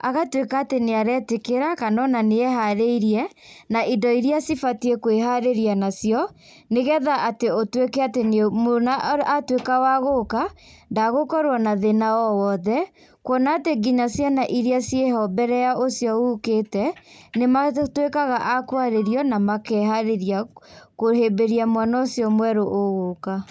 agatuĩka atĩ nĩaretĩkĩra kana ona nĩeharĩirie na indo iria cibatie kwĩharĩria nacio, nigetha atĩ ũtuĩke atĩ mwana atuĩka wa gũka, ndagũkorwo na thĩna o woothe, kũona atĩ ona ciana iria ciĩho mbere ya ũcio ũkĩte nĩmatuĩkaga a kwarĩrio na makeharĩria kũhĩmbĩria mwana ũcio mwerũ ũgũka.